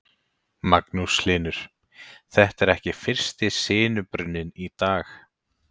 Magnús Hlynur: Þetta er ekki fyrsti sinubruninn í dag?